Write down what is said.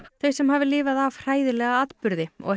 þau sem hafi lifað af hræðilega atburði og ekki